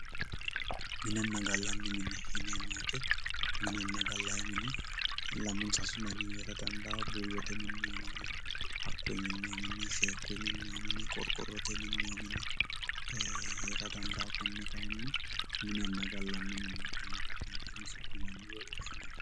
Minnenna gaalanni minne yinemo wooyite minnenna gaalayi minni laamu saassu daanihu heera dandawo buyotte minnoyi minni haaquyi minnoyi minni sheekuyyi minnoyi minni qoriqorotte minnoyi minni ee heera dandawo koonne kaayinni minnenna gaalanni minne yinne ka"nnentinni su'minanni woyyi woshinanni yatte